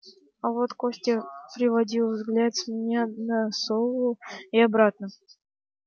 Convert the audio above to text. а вот костя переводил взгляд с меня на сову и обратно